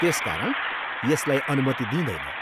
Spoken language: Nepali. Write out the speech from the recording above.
त्यसकारण यसलाई अनुमति दिँइदैन।